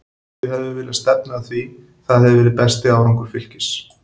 Við hefðum viljað stefna að því, það hefði verið besti árangur Fylkis.